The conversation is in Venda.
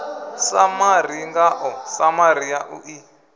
samari ngao samari yanu i